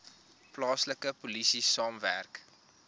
plaaslike polisie saamwerk